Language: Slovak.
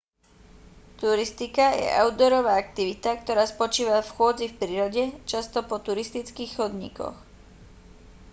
turistika je outdoorová aktivita ktorá spočíva v chôdzi v prírode často po turistických chodníkoch